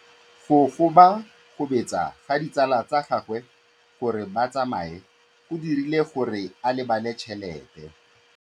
Go gobagobetsa ga ditsala tsa gagwe, gore ba tsamaye go dirile gore a lebale tšhelete.